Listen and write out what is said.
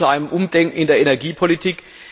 Dies führt zu einem Umdenken in der Energiepolitik.